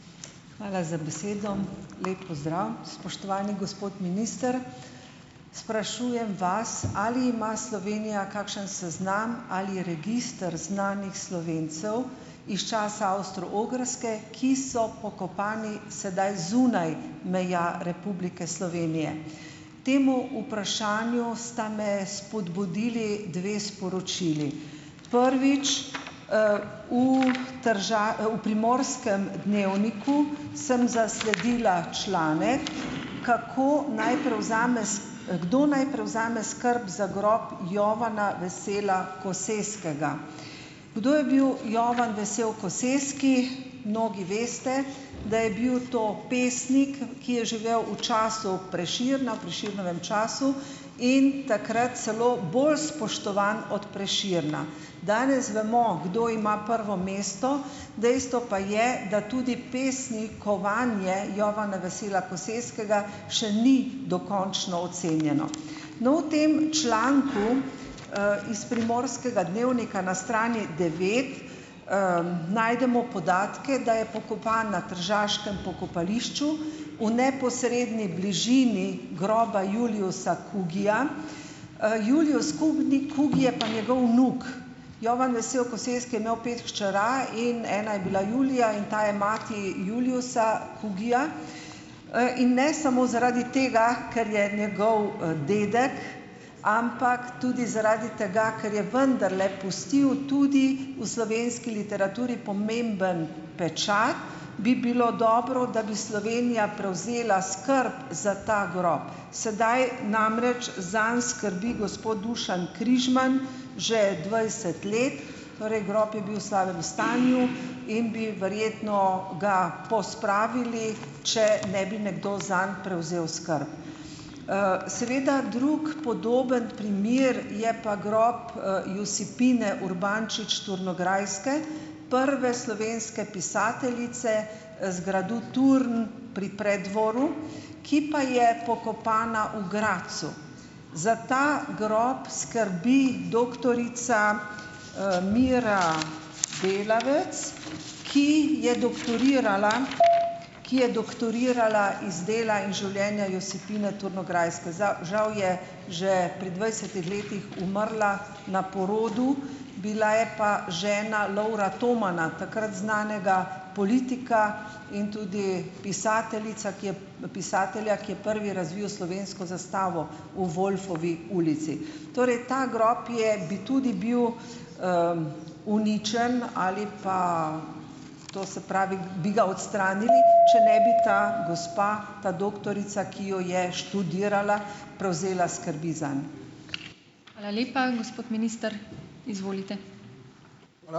Hvala za besedo. Lep pozdrav, spoštovani gospod minister! Sprašujem vas, ali ima Slovenija kakšen seznam ali register znanih Slovencev iz časa Avstro-Ogrske, ki so pokopani sedaj zunaj meja Republike Slovenije. Temu vprašanju sta me spodbudili dve sporočili. Prvič, v v Primorskem dnevniku sem zasledila članek, kako naj prevzame kdo naj prevzame skrb za grob Jovana Vesela Koseskega. Kdo je bil Jovan Vesel Koseski? Mnogi veste, da je bil to pesnik, ki je živel v času Prešerna, Prešernovem času. In takrat celo bolj spoštovan od Prešerna. Danes vemo, kdo ima prvo mesto. Dejstvo pa je, da tudi pesnikovanje Jovana Vesela Koseskega še ni dokončno ocenjeno. No, v tem članku, iz Primorskega dnevnika na strani devet najdemo podatke, da je pokopan na tržaškem pokopališču v neposredni bližini groba Juliusa Kugyja. Julius Kugni Kugy je pa njegov vnuk. Jovan Vesel Koseski je imel pet hčera in ena je bila Julija in ta je mati Juliusa Kugyja. In ne samo zaradi tega, ker je njegov, dedek, ampak tudi zaradi tega, ker je vendarle pustil tudi v slovenski literaturi pomemben pečat, bi bilo dobro, da bi Slovenija prevzela skrb za ta grob. Sedaj namreč zanj skrbi gospod Dušan Križman, že dvajset let. Torej grob je bil v slabem stanju in bi verjetno ga pospravili, če ne bi nekdo zanj prevzel skrb. Seveda drug podoben primer je pa grob Josipine Urbančič - Turnograjske, prve slovenske pisateljice z gradu Turn, pri Preddvoru, ki pa je pokopana v Gradcu. Za ta grob skrbi doktorica, Mira Delavec, ki je doktorirala ki je doktorirala iz dela in življenja Josipine Turnograjske. Žal je že pri dvajsetih letih umrla na porodu, bila je pa žena Lovra Tomana, takrat znanega politika, in tudi pisateljica, ki je, pisatelja, ki je prvi razvil slovensko zastavo v Wolfovi ulici. Torej ta grob je bi tudi bil uničenje ali pa, to se pravi, bi ga odstranili, če ne bi ta gospa, ta doktorica, ki jo je študirala, prevzela skrbi zanj.